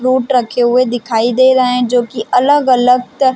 fruit रखे हुए दिखाई दे रहे है जोकि अलग- अलग तर--